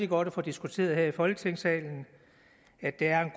godt at få diskuteret her i folketingssalen at der er